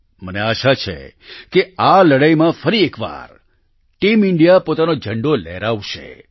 મને આશા છે કે આ લડાઈમાં ફરી એકવાર ટીમ ઈન્ડિયા પોતાનો ઝંડો લહેરાવશે